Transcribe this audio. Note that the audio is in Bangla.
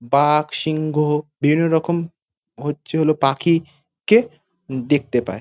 বাঘ সিংহ বিভিন্ন রকম হচ্ছে হল পাখি কে দেখতে পায়।